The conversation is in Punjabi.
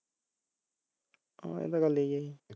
ਹਾਂ ਇਹ ਤਾਂ ਗੱਲ ਹੈਗੀ ਐ